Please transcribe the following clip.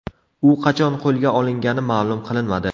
U qachon qo‘lga olingani ma’lum qilinmadi.